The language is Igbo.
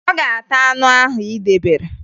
Ọ ga-ata anụ ahụ ị debere